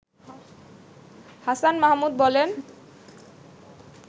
হাছান মাহমুদ বলেন